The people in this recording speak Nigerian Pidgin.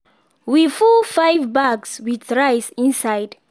we full five bags with rice inside